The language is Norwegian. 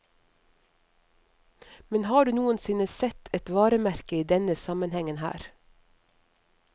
Men har du noensinne sett et varemerke i denne sammenhengen her?